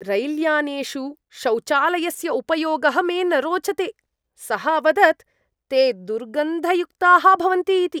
रैल्यानेषु शौचालयस्य उपयोगः मे न रोचते, सः अवदत्, ते दुर्गन्धयुक्ताः भवन्ति इति।